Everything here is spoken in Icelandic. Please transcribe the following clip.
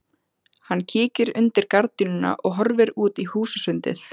Hann kíkir undir gardínuna og horfir út í húsasundið.